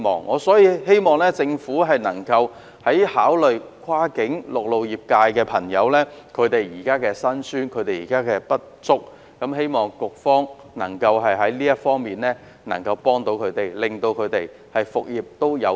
我希望政府能夠考慮跨境陸路客運業現時的辛酸和不足之處，並希望局方能夠在這方面協助他們，讓他們復業有望。